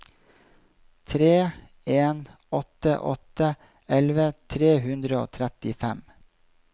tre en åtte åtte elleve tre hundre og trettifem